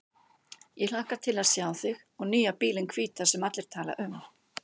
Ég hlakka til að sjá þig og nýja bílinn hvíta sem allir tala um.